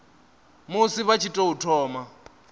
musi vha tshi tou thoma